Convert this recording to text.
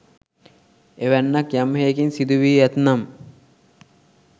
එවැන්නක් යම් හෙයකින් සිදු වී ඇත්නම්